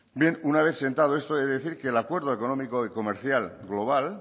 bien una vez sentado esto he de decir que el acuerdo económico y comercial global